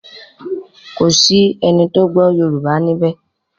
Kọ sí ẹní tó gbó yorùbá níbè.